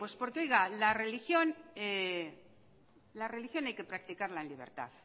por que la religión hay que practicarla